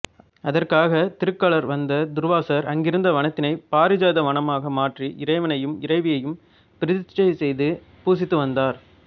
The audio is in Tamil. அதற்காக திருக்களர் வந்த துர்வாசர் அங்கிருந்த வனத்தினை பாரிஜாத வனமாக மாற்றி இறைவனையும் இறைவியையும் பிரதிஷ்டை செய்து பூசித்து வந்தார்